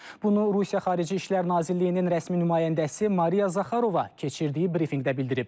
Bunu Rusiya Xarici İşlər Nazirliyinin rəsmi nümayəndəsi Mariya Zaxarova keçirdiyi brifinqdə bildirib.